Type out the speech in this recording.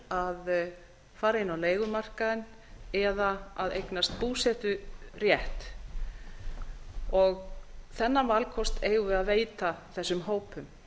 að fara inn á leigumarkaðinn eða að eignast búseturétt þennan valkost eigum við veita þessum hópum